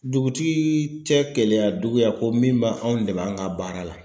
Dugutigi tɛ KELEYADUGU ya ko min b'anw dɛmɛ an ka baara la.